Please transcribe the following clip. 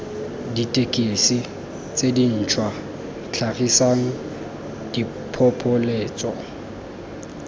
dithekesi tse dintšhwa tlhagisang diphopoletso